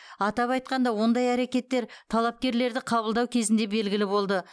атап айтқанда ондай әрекеттер талапкерлерді қабылдау кезінде белгілі болды